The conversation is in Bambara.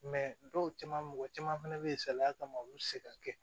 dɔw caman mɔgɔ caman fɛnɛ be yen salaya kama olu ti se ka kɛ